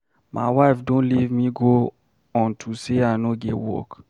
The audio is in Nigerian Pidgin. My wife don leave me go unto say I no get work.